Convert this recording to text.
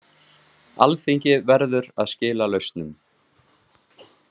Alþingi verður að skila lausnum